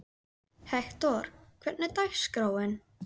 Hektor, hvernig er dagskráin?